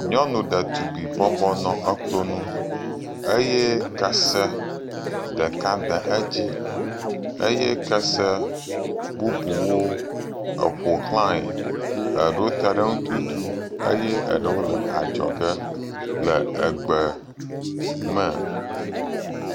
Nyɔnu ɖetugbui bɔbɔ nɔ klo nu eye kese ɖeka de edzi eye kese bubuwo ƒoxlãe. Eɖewo te ɖe eŋu tutu eye eɖewo le adzɔge le egbe me.